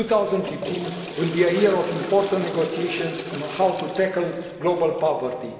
2015 will be a year of important negotiations on how to tackle global poverty.